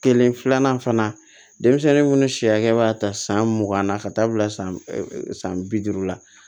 Kelen filanan fana denmisɛnnin minnu si hakɛ b'a ta san mugan na ka taa bila san bi duuru la